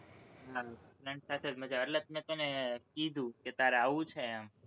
hello friend સાથે જ મજા આવે એટલે તો મેં તને કીધું કે તારે આવવું છે એમ?